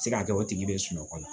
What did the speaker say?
Se ka kɛ o tigi be sunɔgɔ la